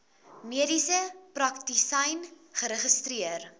mediese praktisyn geregistreer